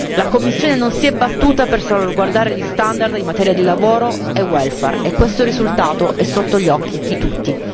La Commissione non si è battuta per salvaguardare gli standard in materia di lavoro e welfare e questo risultato è sotto gli occhi di tutti.